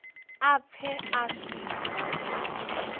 a pfe a si na